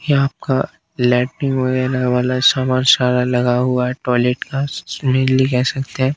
आपका लैट्रिंग वगैरह वाला सामान सारा लगा हुआ है टॉयलेट का सकते हैं।